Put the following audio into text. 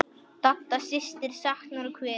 Dadda systir saknar og kveður.